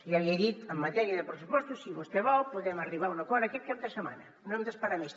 ja li he dit en matèria de pressupostos si vostè vol podem arribar a un acord aquest cap de setmana no hem d’esperar més